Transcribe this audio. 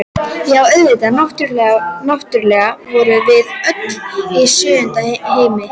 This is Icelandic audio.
Já, auðvitað, náttúrlega vorum við öll í sjöunda himni!